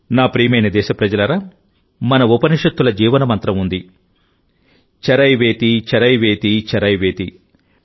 నా ప్రియమైన దేశప్రజలారామన ఉపనిషత్తుల జీవన మంత్రం ఉంది చరైవేతిచరైవేతిచరైవేతి